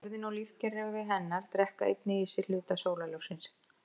Jörðin og lífkerfi hennar drekka einnig í sig hluta sólarljóssins.